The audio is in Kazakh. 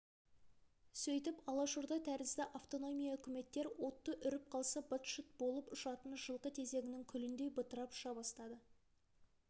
сөйтіп алашорда тәрізді автономия-үкіметтер отты үріп қалса быт-шыт болып ұшатын жылқы тезегінің күліндей бытырап ұша бастады